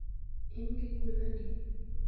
In gi gwen adi?